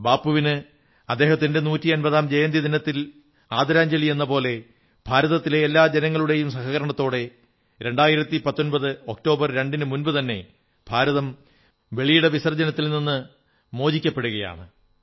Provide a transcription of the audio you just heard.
ബാപ്പുവിന് അദ്ദേഹത്തിന്റെ നൂറ്റമ്പതാം ജയന്തി ദിനത്തിൽ ആദരാഞ്ജലിയെന്ന പോലെ ഭാരതത്തിലെ എല്ലാ ജനങ്ങളുടെയും സഹകരണത്തോടെ 2019 ഒക്ടോബർ 2 നു മുമ്പുതന്നെ ഭാരതം വെളിയിട വിസർജ്ജനത്തിൽ നിന്ന് മോചിക്കപ്പെടുകയാണ്